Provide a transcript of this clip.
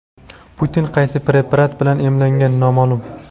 Putin qaysi preparat bilan emlangan noma’lum.